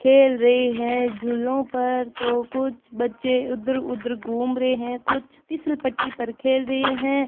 खेल रहे है झूलों पर तो कुछ बच्चे इधर उधर घूम रहे हैं कुछ फिसल पट्टी पर खेल रहे हैं।